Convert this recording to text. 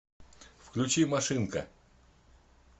включи машинка